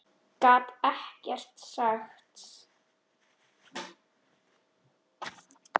Gat ekkert sagt.